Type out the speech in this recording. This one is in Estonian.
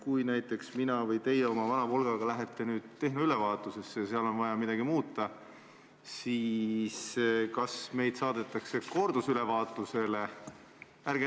Kui näiteks mina lähen või teie oma vana Volgaga lähete tehnoülevaatusele ja on vaja midagi muuta, siis kas meid saadetakse kordusülevaatusele?